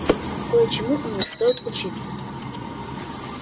кое-чему у них стоит учиться